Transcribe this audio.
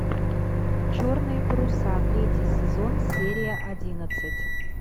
черные паруса третий сезон серия одиннадцать